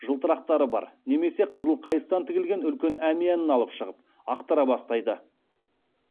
жылтырақтары бар немесе қызыл қайыстан тігілген үлкен әмиянын алып шығып ақтара бастайды